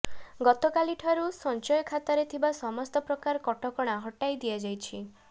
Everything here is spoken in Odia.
ଗତକାଲିଠାରୁ ସଂଚୟଖାତାରେ ଥିବା ସମସ୍ତ ପ୍ରକାର କଟକଣା ହଟାଇ ଦିଆଯାଇଛି